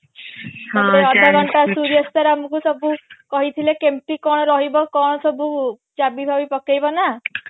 ତାପରେ ଅଧ ଘଣ୍ଟା ସୂର୍ୟ sir ଆମକୁ ସବୁ କହିଥିଲେ କେମତି କଣ ରହିବ କଣ ସବୁ ଚାବି ବାବି ପକେଇବ ନା